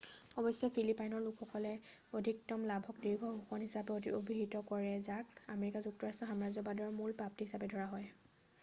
অৱশ্যে ফিলিপাইনৰ লোকসকলে অধিকতম লাভক দীৰ্ঘ শোষণ হিচাপে অভিহিত কৰে যাক আমেৰিকা যুক্তৰাষ্ট্ৰৰ সাম্ৰাজ্যবাদৰ মূল প্ৰাপ্তি হিচাপে ধৰা হয়